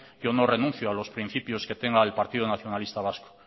yo no renuncio a los principios que tenga el partido nacionalista vasco